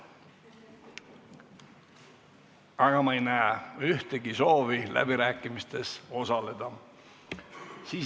Aga ma ei näe ühtegi soovi läbirääkimistel osaleda.